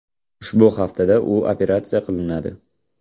Ushbu haftada u operatsiya qilinadi.